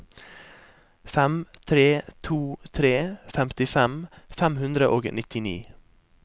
fem tre to tre femtifem fem hundre og nittini